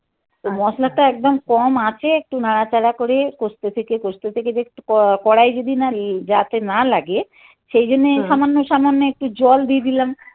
তো মশলাটা একদম কম আচে একটু নাড়াচাড়া করে কষতে থেকে কষতে থেকে দেখছি. কড়াই যদি না যাতে না লাগে. সেই জন্যই সামান্য সামান্য একটু জল দিয়ে দিলাম